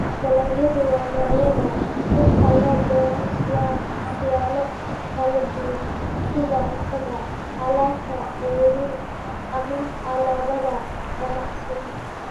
Dalagyadu waa noocyada dhirta loo beero siyaalo kala duwan, sida cuntada, alaabta ceeriin, ama alaabada ganacsiga.